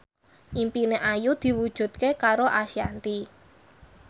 impine Ayu diwujudke karo Ashanti